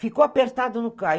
Ficou apertado no carro.